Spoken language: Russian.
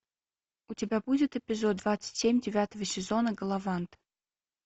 у тебя будет эпизод двадцать семь девятого сезона галавант